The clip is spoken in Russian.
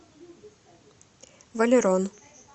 валерон